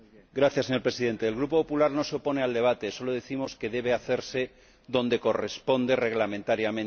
Señor Presidente, el Grupo Popular no se opone al debate, solo decimos que debe hacerse donde corresponde reglamentariamente.